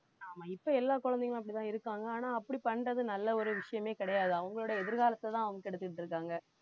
ஆமா இப்ப எல்லா குழந்தைகளும் அப்படித்தான் இருக்காங்க ஆனா அப்படி பண்றது நல்ல ஒரு விஷயமே கிடையாது அவங்களுடைய எதிர்காலத்தைதான் அவங்க கெடுத்துட்டு இருக்காங்க